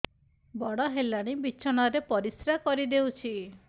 ବଡ଼ ହେଲାଣି ବିଛଣା ରେ ପରିସ୍ରା କରିଦେଉଛି